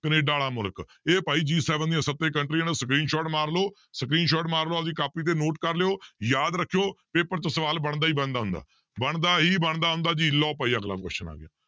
Canada ਵਾਲਾ ਮੁਲਕ ਇਹ ਭਾਈ G seven ਦੀਆਂ ਸੱਤੇ ਕੰਟਰੀਆਂ ਨੂੰ screenshot ਮਾਰ ਲਓ screenshot ਮਾਰ ਲਓ ਆਪਦੀ ਕਾਪੀ ਤੇ note ਕਰ ਲਇਓ ਯਾਦ ਰੱਖਿਓ ਪੇਪਰ 'ਚ ਸਵਾਲ ਬਣਦਾ ਹੀ ਬਣਦਾ ਹੁੰਦਾ, ਬਣਦਾ ਹੀ ਬਣਦਾ ਹੁੰਦਾ ਜੀ ਲਓ ਭਾਈ ਅਗਲਾ question ਆ ਗਿਆ।